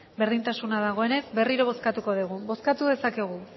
berdintasuna dagoenez berriro bozkatuko dugu bozkatu dezakegu